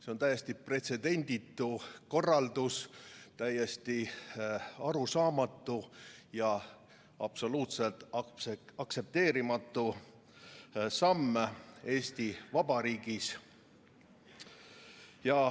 See on täiesti pretsedenditu korraldus, täiesti arusaamatu ja absoluutselt aktsepteerimatu samm Eesti Vabariigis.